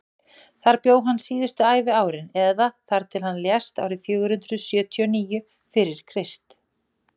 þar bjó hann síðustu æviárin eða þar til hann lést árið fjögur hundruð sjötíu og níu fyrir krist